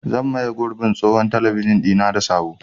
Zan maye gurbin tsohon talabijin ɗina da sabo.